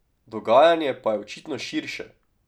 Dogajanje pa je očitno širše.